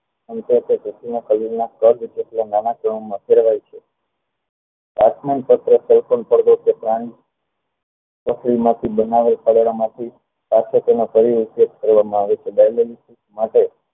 તો field માંથી બનાવેલા માંથી પાસે તેનો ફરી ઉપયોગ કરવામાં આવે છે માટે